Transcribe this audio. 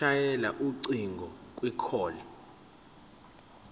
shayela ucingo kwicall